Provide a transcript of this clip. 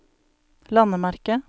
landemerke